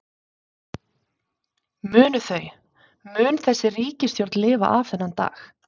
Munu þau, mun þessi ríkisstjórn lifa af þennan dag?